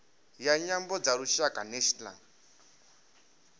ya nyambo dza lushaka national